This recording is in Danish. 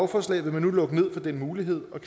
forslaget vil man nu lukke ned for den mulighed og